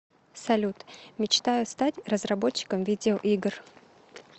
салют мечтаю стать разработчиком видеоигр